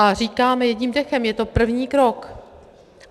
A říkáme jedním dechem, je to první krok.